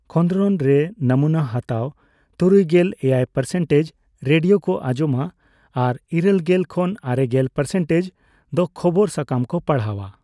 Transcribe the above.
ᱠᱷᱸᱫᱽᱨᱚᱱ ᱨᱮ, ᱱᱚᱢᱩᱱᱟ ᱦᱟᱛᱟᱣ ᱛᱩᱨᱩᱭᱜᱮᱞ ᱮᱭᱟᱭ ᱯᱟᱨᱥᱮᱱᱴᱮᱡᱽ ᱨᱮᱰᱤᱭᱳ ᱠᱚ ᱟᱸᱡᱚᱢᱟ ᱟᱨ ᱤᱨᱟᱹᱞᱜᱮᱞ ᱠᱷᱚᱱ ᱟᱨᱮᱜᱮᱞ ᱯᱟᱨᱥᱮᱱᱴᱮᱡᱽ ᱫᱚ ᱠᱷᱚᱵᱚᱨ ᱥᱟᱠᱟᱢ ᱠᱚ ᱯᱟᱲᱦᱟᱣᱟ ᱾